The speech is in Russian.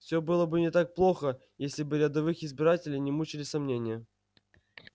все было бы не так плохо если бы рядовых избирателей не мучили сомнения